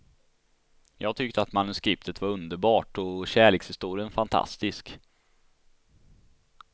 Jag tyckte att manuskriptet var underbart och kärlekshistorien fantastisk.